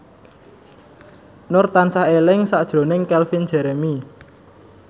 Nur tansah eling sakjroning Calvin Jeremy